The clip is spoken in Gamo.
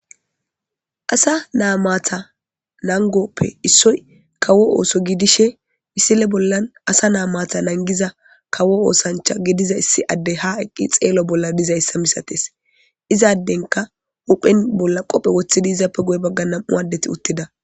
Assa nata matta naniggo ossoyi kawo osso gidishini, misile bollani assa nata matta nanigiza kawo ossanicha gidizayasi issi ade ha xello bolla deyesi ba hupheni qobe wothisi